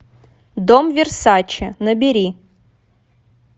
дом версаче набери